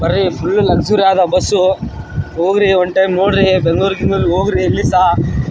ಬರ್ರೀ full luxury ಆದ bus ಹೋಗ್ರಿ ಒಂದ್ ಟೈಮ್ ನೋಡ್ರಿ ಬೆಂಗ್ಳೂರು ಗಿಂಗ್ಳೂರ್ ಹೋಗ್ರಿ ಇಲ್ಲಿಸ.